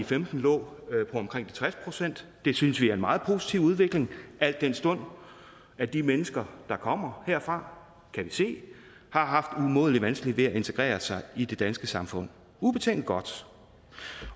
femten lå på omkring de tres procent det synes vi er en meget positiv udvikling al den stund at de mennesker der kommer derfra kan vi se har haft umådeligt vanskeligt ved at integrere sig i det danske samfund ubetinget godt